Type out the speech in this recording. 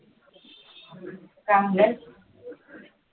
काय म्हणालास